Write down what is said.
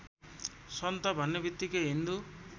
सन्त भन्नेबित्तिकै हिन्दू